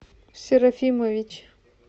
серафимович